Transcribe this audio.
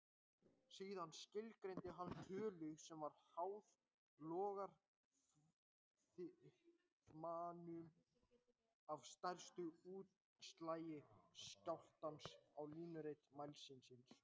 Síðan skilgreindi hann tölu sem var háð lógariþmanum af stærsta útslagi skjálftans á línuriti mælisins.